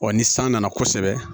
Wa ni san nana kosɛbɛ